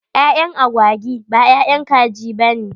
Ƴaƴan agwagi b ƴaƴan kaji bane.